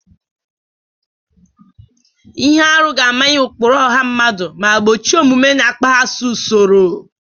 Ihe arụ ga-amanye ụkpụrụ ọha mmadụ ma gbochie omume na-akpaghasị usoro.